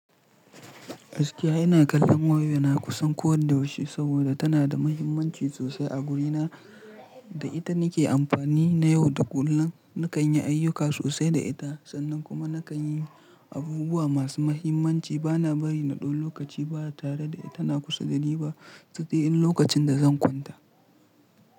Gaskiya ina kallon waya na kusan ko da yaushe saboda tana da muhimmanci sosai a guri na. Da ita nike amfani na yau da kullun. Nakan yi ayyuka sosai da ita sannan kuma nakan yi abubuwa masu muhimmanci. Bana bari na ɗau lokaci baya tare da ita, tana kusa da ni ba sai dai in lokacin da zan kwanta.